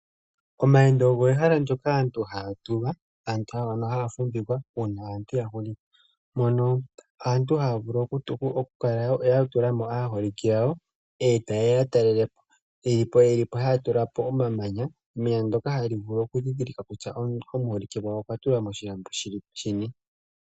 Omayendo ogo ehala ndyoka aantu haa tulwa nenge haa fumvikwa uuna aantu ya hulitha, mono aantu haa vulu okukala ya tula mo aaholike yawo, e taye ya ya talele po. Ye li po haya vulu okutula po omamanya, emanya ndyoka hali vulu okundhindhilikwa kutya omuholike gwawo okwa tulwa moshilambo shini.